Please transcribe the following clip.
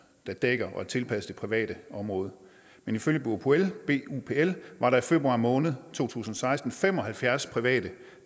der dækker og er tilpasset det private område men ifølge bupl var der i februar måned to tusind og seksten fem og halvfjerds private